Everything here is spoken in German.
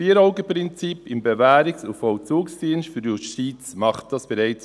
Das Vier-Augen-Prinzip im BVD bei der Justiz macht dies heute bereits.